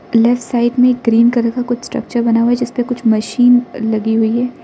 Left side में cream colour का कुछ स्ट्रक्चर बना हुआ है जिस पे कुछ मशीन लगी हुई है।